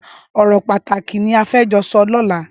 Ọrọ pàtáki ni á fè jọ sọ lọ̀là